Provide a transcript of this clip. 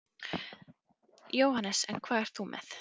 Jóhannes: En hvað ert þú með?